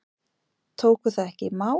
Tóku það ekki í mál.